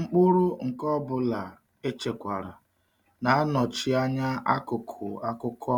Mkpụrụ nke ọ bụla echekwara na-anọchi anya akụkụ akụkọ